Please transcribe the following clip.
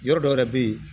Yɔrɔ dɔ yɛrɛ bɛ ye